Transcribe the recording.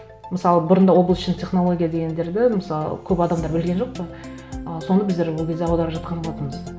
мысалы бұрында облачный технология дегендерді мысалы көп адамдар білген жоқ қой ы соны біздер ол кезде аударып жатқан болатынбыз